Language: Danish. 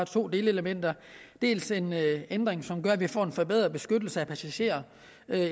to delelementer dels en ændring som gør at vi får en forbedret beskyttelse af passagerer